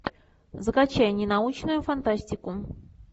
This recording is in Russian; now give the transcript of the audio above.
закачай ненаучную фантастику